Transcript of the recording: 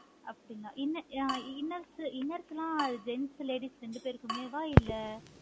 அப்படிங்களா inners எல்லாம் gents, ladies ரெண்டு பேருக்குமே வா இல்லை